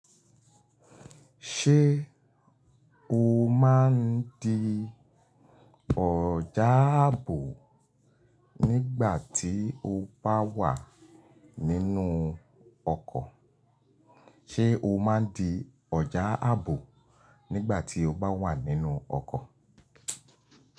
Ṣé o bá wa nínú ọkọ, ṣe o máa n di ọ̀já ààbò nígbà tí o bá wà nínú ọkọ̀?